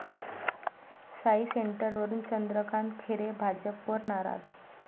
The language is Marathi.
साई सेंटर'वरून चंद्रकांत खैरे भाजपवर नाराज